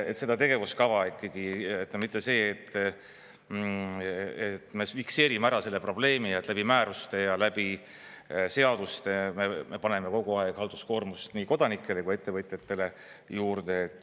… et seda tegevuskava ikkagi, mitte see, et me fikseerime ära selle probleemi, et läbi määruste ja läbi seaduste me paneme kogu aeg halduskoormust nii kodanikele kui ettevõtjatele juurde.